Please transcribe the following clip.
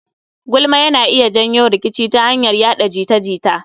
Gulma yana iya janyo rikici ya hanyar yaɗa jita-jita